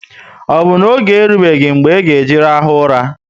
O bu na oge erubeghi mgbe e ga eji rahu ụra?